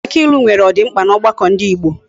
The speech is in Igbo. Aki ilu nwere odimkpa na ogbako ndi Igbo